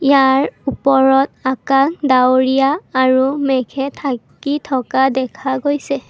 ইয়াৰ ওপৰত আকাশ ডাওৰিয়া আৰু মেঘে ঢাকি থকা দেখা গৈছে।